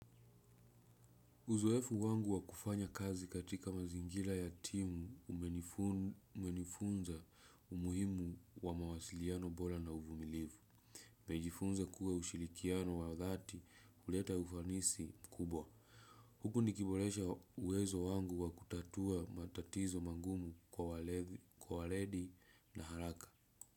Uzuefu wangu wa kufanya kazi katika mazingira ya timu umenifunza umuhimu wa mawasiliano bora na uvumilivu. Nimejifunza kuwa usirikiano wa dhati huleta ufanisi mkubwa. Huku nikiboresha uwezo wangu wa kutatua matatizo magumu kwa weledi na haraka.